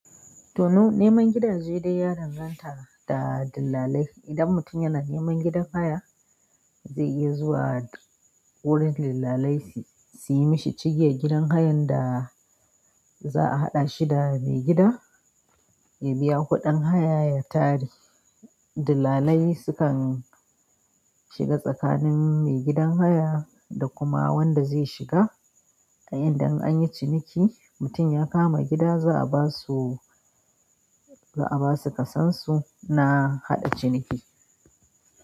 To, neman gida zai dai ya danganta da dillalai. Idan mutun yana neman gidan haya, zai iya zuwa wurin dillalai suyi mishi cigiyan gidan hayanda za a haɗashi da mai gida, ya biya kuɗin haya, ya tare. Dillalai sukan shiga tsakanin maigidan haya da kuma wanda zai shiga. A inda an yi ciniki mutum ya kama gida za a basu, za a basu ƙasan su na haɗa ciniki.